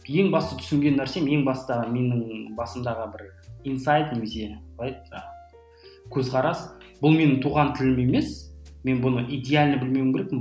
ең басты түсінген нәрсем ең басты менің басымдағы бір инсайт немесе қалай еді жаңағы көзқарас бұл менің туған тілім емес мен бұны иделально білмеуім керекпін